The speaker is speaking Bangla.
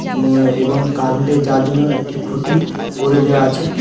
উম এবং কার্রেন্টের যাওয়ার জন্য একটি খুঁটি করে দেওয়া আছে।